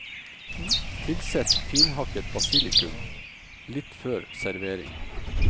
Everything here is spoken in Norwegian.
Tilsett finhakket basilikum litt før servering.